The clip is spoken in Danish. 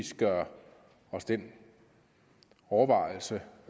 gør os den overvejelse